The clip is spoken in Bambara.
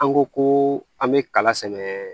An ko ko an bɛ kala sɛnɛ